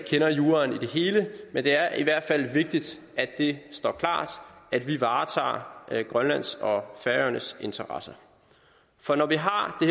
juraen i det hele men det er i hvert fald vigtigt at det står klart at vi varetager grønlands og færøernes interesser for når vi har